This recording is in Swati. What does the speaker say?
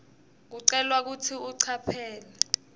ucelwa kutsi ucaphele